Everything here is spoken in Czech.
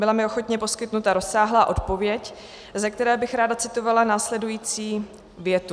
Byla mi ochotně poskytnuta rozsáhlá odpověď, ze které bych ráda citovala následující větu.